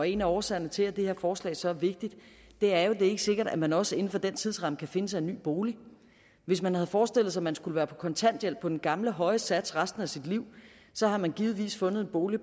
en af årsagerne til at det her forslag så er vigtigt er jo at det ikke er sikkert at man også inden for den tidsramme kan finde sig en ny bolig hvis man havde forestillet sig at man skulle være på kontanthjælp på den gamle høje sats resten af sit liv så har man givetvis fundet en bolig